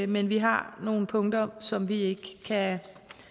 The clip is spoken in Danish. men vi har nogle punkter som vi ikke kan